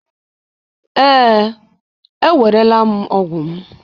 ee, ewerela m ọgwụ m